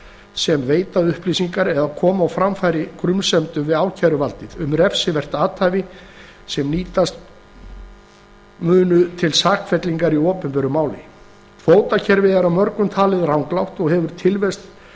sem veita upplýsingar eða koma á framfæri grunsemdum við ákæruvaldið um refsivert athæfi sem nýtast munu til sakfellingar í opinberu máli kvótakerfið er af mörgum talið ranglátt og hefur tilvist